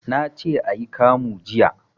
Nace ayi kamu jiya